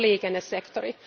Se on liikennesektori.